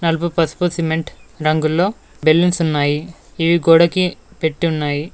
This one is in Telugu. నలుపు పసుపు సిమెంట్ రంగుల్లో బెలూన్స్ ఉన్నాయి ఇవి గోడకి పెట్టి ఉన్నాయి.